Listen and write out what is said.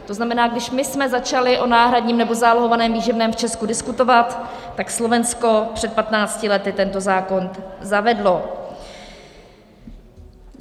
To znamená, když my jsme začali o náhradním nebo zálohovaném výživném v Česku diskutovat, tak Slovensko před 15 lety tento zákon zavedlo.